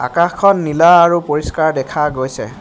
আকাশখন নীলা আৰু পৰিষ্কাৰ দেখা গৈছে।